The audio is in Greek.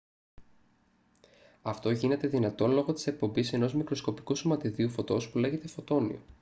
αυτό γίνεται δυνατό λόγω της εκπομής ενός μικροσκοπικού σωματιδίου φωτός που λέγεται «φωτόνιο»